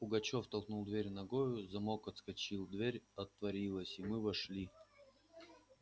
пугачёв толкнул дверь ногою замок отскочил дверь отворилась и мы вошли